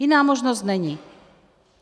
Jiná možnost není.